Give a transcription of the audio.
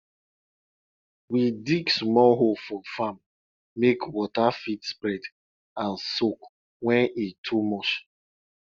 we dig small hole for farm make water fit spread and soak when e too much